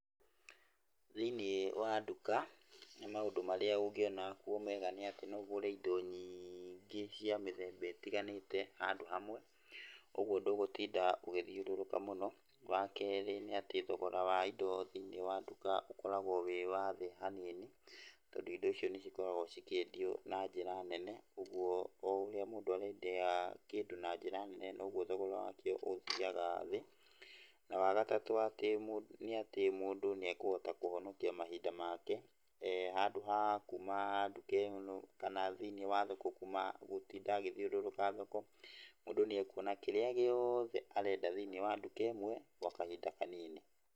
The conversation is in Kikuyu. Thĩiniĩ wa nduka maũndũ marĩa ũngĩona kuo mega nĩ atĩ no ũgũre indo nyingĩ cia mĩthemba ĩtiganĩte handũ hamwe, ũguo ndũgũtinda ũgĩthiũrũrũka mũno. Wa kerĩ nĩ atĩ thogora wa indo cia nduka ũkoragwo wĩ wathĩ hanini tondũ indo icio nĩ cikoragwo cikĩendio na njĩra nene ũguo o ũrĩa mũndũ arendia kĩndũ na njĩra nene noguo thogora wakĩo ũthiaga thĩ ,na wagatatũ nĩ atĩ mũndũ nĩekũhota kũhonokia mahinda make handũ ha kuma nduka ĩno kana thĩiniĩ wa thoko kuma, gũtinda agĩthiũrũrũka thoko, mũndũ nĩekuona kĩrĩa gĩothe arenda thĩiniĩ wa nduka ĩmwe gwa kahinda kanini.